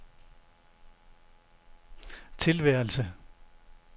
tilværelse